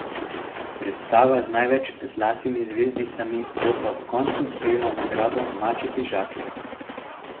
Predstava z največ zlatimi zvezdicami bo ob koncu prejela nagrado maček iz žaklja.